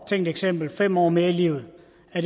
tænkt eksempel fem år mere i livet